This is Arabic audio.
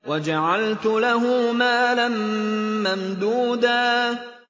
وَجَعَلْتُ لَهُ مَالًا مَّمْدُودًا